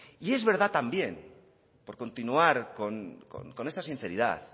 y es verdad también por continuar con esta sinceridad